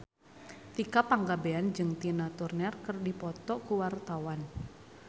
Tika Pangabean jeung Tina Turner keur dipoto ku wartawan